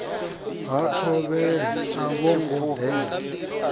ha thovhele a vhongo dela